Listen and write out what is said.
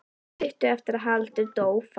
Stuttu eftir að Haraldur dó fann